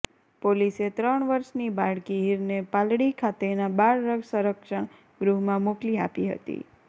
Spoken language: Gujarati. પોલીસે ત્રણ વર્ષની બાળકી હીરને પાલડી ખાતેના બાળ સરંક્ષણ ગૃહમાં મોકલી આપી હતી